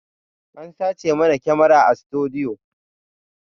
An sace mana kyamara a sutudiyo